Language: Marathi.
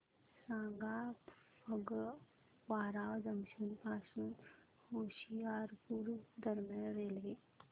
सांगा फगवारा जंक्शन पासून होशियारपुर दरम्यान रेल्वे